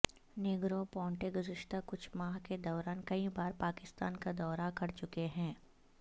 negro پونٹے گزشتہ کچھ ماہ کے دوران کئی بار پاکستان کا دورہ کر چکے ہیں